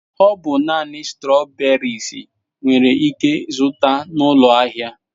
Ọ bụ naanị strawberries nwere ike zụta n'ụlọ ahịa.